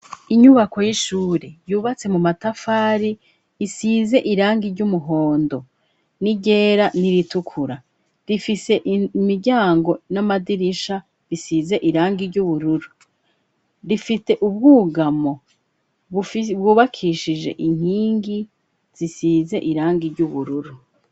Inyubako y'ishure yubatse mu matafari isize irangi ry'umuhondo n'iryera n'iritukura rifise imiryango n'amadirisha bisize irangi ry'ubururu. Rifite ubwugamo bwubakishije inkingi zisize irangi ry'ubururu.